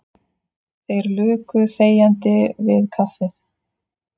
Þeir luku þegjandi við kaffið.